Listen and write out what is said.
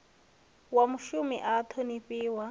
wa mushumi a a ṱhonifhiwa